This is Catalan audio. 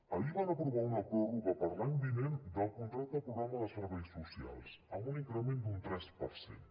ahir van aprovar una pròrroga per a l’any vinent del contracte programa de serveis socials amb un increment d’un tres per cent